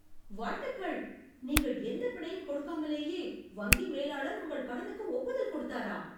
வாழ்த்துக்கள்! நீங்கள் எந்த பிணையும் கொடுக்காமலேயே வங்கி மேலாளர் உங்கள் கடனுக்கு ஒப்புதல் கொடுத்தாரா?